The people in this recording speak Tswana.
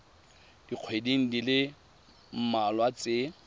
dikgweding di le mmalwa tse